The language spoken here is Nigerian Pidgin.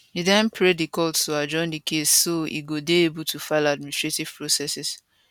e den pray di court to adjourn di case so e go dey able to file administrative processes